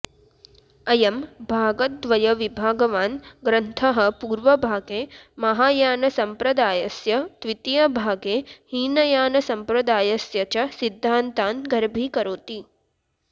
अयं भागद्वयविभागवान् ग्रन्थः पूर्वभागे महायानसम्प्रदायस्य द्वितीयभागे हीनयानसम्प्रदायस्य च सिध्दान्तान् गर्भीकरोति